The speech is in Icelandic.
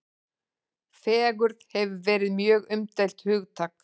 Fegurð hefur verið mjög umdeilt hugtak.